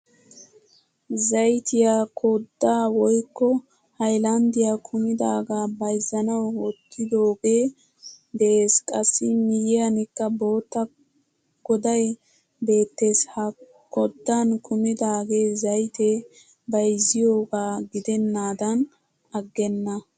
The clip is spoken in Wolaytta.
Zayttiyaa kodda woykko haylanddiya kumidaga bayzzanawu wottidoge de'ees. Qassi miyiyanikka bootta goday beettees. Ha kooddan kumidage zaytte bayzziyoga gidendan aggena.